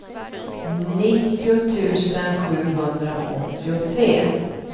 nittio tusen sjuhundraåttiotre